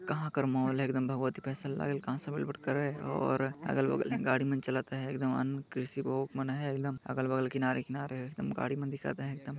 कहा कर मॉल है एकदम भगवती स्पेशल लगल कहा से करे और अगल-बगल गाड़ी मन चलत अहे एकदम अहे एकदम अलग-बगल किनारे-किनारे एकदम गाड़ी मन दिखत अहे एकद--